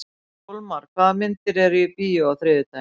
Sólmar, hvaða myndir eru í bíó á þriðjudaginn?